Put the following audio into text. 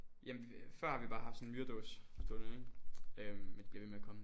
Jamen før har vi bare haft sådan en myredåse stående ikke øhm men de bliver ved med at komme